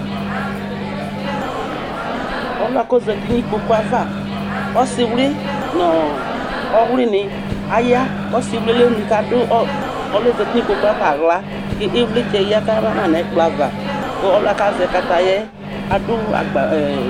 Ɔlʋ yɛ k'ozati nʋ ikpoku yɛ ava ɔlɛ ɔsieli nʋ ɔɔ ɔwli ni aya, k'ɔsiwli yɛ emli k'adʋ ɔlʋ yɛ k'ozsti n'ikpoku yɛ ava aɣla ho ivlitsɛ yǝdʋ kama nʋ ɛkplɔ ava, kʋ ɔlʋ yɛ bua k'azɛ kataya yɛ adʋ agba ene